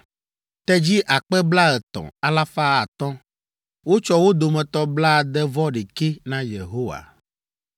tedzi akpe blaetɔ̃, alafa atɔ (30,500), wotsɔ wo dome blaade-vɔ-ɖekɛ na Yehowa;